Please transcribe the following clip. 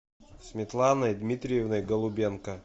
светланой дмитриевной голубенко